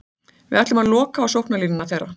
Við ætluðum að loka á sóknarlínuna þeirra.